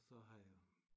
Og så har jeg